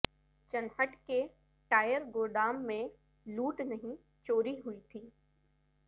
چنہٹ کے ٹائر گودام میں لوٹ نہیں چوری ہوئی تھی